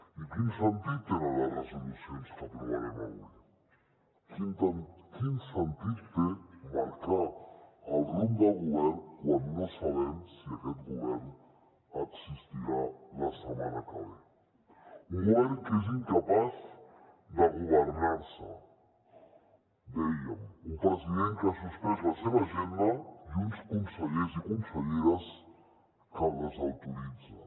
i quin sentit tenen les resolucions que aprovarem avui quin sentit té marcar el rumb del govern quan no sabem si aquest govern existirà la setmana que ve un govern que és incapaç de governar se dèiem un president que ha suspès la seva agenda i uns consellers i conselleres que el desautoritzen